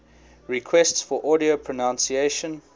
requests for audio pronunciation